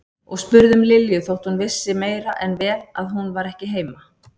Og spurði um Lilju þótt hún vissi meira en vel að hún var ekki heima.